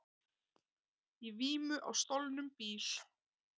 Í vímu á stolnum bíl